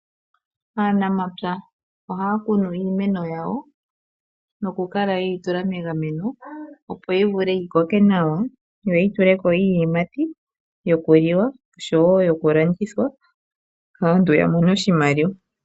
Aanamapya ohaya kunu iimeno yawo noku kala yeyi tula megameno ,opo yi vule yi koke nawa, yo yi tuleko iiyimati yokuliwa nosho wo yokulandithwa, aantu ya mone oshimaliwa.